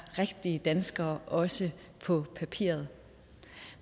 rigtige danskere også på papiret